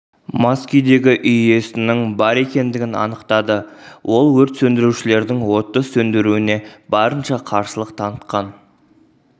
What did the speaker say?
мас күйдегі үй иесінің бар екендігін анықтады ол өрт сөндірушілердің отты сөндіруіне барынша қарсылық танықтан